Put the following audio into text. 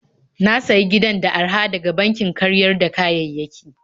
Na sayi gidan da araha daga bankin karyar da kayayyaki.